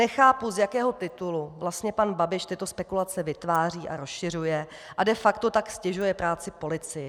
Nechápu, z jakého titulu vlastně pan Babiš tyto spekulace vytváří a rozšiřuje, a de facto tak ztěžuje práci policii.